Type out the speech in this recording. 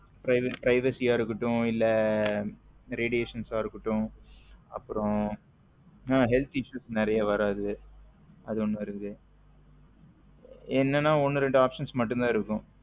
Privacy ஆ இருக்கட்டும் இல்ல radiation ஆ இருக்கட்டும் அப்பரம் உம் health issues நறிய வரத்து அது ஒன்னு இருக்குது என்னன்னா ஒன்னு ரெண்டு options மட்டும் தான் இருக்கும்